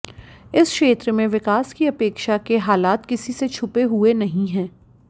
इस क्षेत्र में विकास की अपेक्षा के हालात किसी से छुपे हुए नहीं हैं